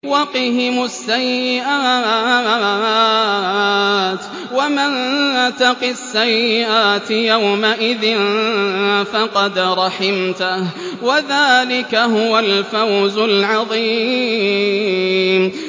وَقِهِمُ السَّيِّئَاتِ ۚ وَمَن تَقِ السَّيِّئَاتِ يَوْمَئِذٍ فَقَدْ رَحِمْتَهُ ۚ وَذَٰلِكَ هُوَ الْفَوْزُ الْعَظِيمُ